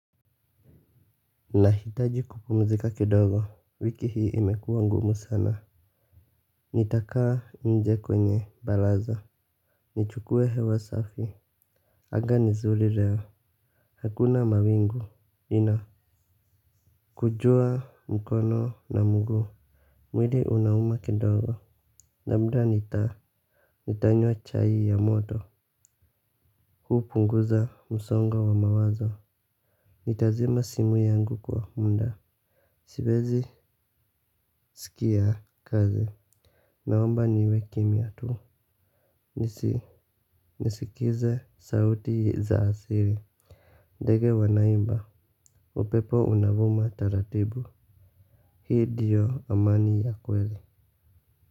Nahitaji kupumzika kidogo. Wiki hii imekuwa ngumu sana. Nitakaa nje kwenye baraza. Nichukue hewa safi. Anga ni zuri leo. Hakuna mawingu. Ina kunjua mkono na mguu. Mwili unauma kidogo labda nita nitanywa chai ya moto. Huu hupunguza msongo wa mawazo. Nitazima simu yangu kwa mda. Siviezi skia kazi. Naomba niwe kimya tu, nisi, nisikize sauti za asili ndege wanaimba, upepo unavuma taratibu. Hii ndio amani ya kweli.